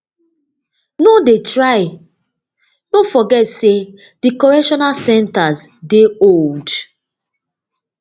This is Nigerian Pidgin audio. no dey try no forget say di correctional centres dey old